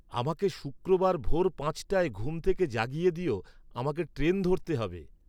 আমাকে শুক্রবার ভোর পাঁচটায় ঘুম থেকে জাগিয়ে দিয়ো, আমাকে ট্রেন ধরতে হবে